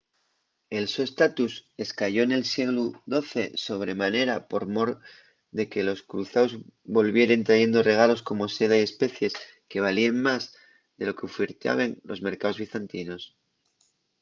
el so estatus escayó nel sieglu xii sobre manera por mor de que los cruzaos volvieren trayendo regalos como seda y especies que valíen más de lo qu’ufiertaben los mercaos bizantinos